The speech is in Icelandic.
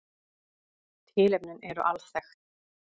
Tilefnin eru alþekkt